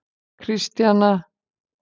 Kristjana